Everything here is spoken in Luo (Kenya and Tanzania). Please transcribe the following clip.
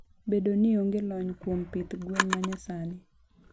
Bedo ni onge lony kuom pith gwen manyasani.